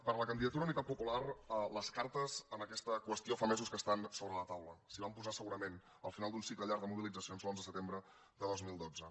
per la candidatura d’unitat popular les cartes en aquesta qüestió fa mesos que estan sobre la taula s’hi van posar segurament al final d’un cicle llarg de mobilitzacions l’onze de setembre de dos mil dotze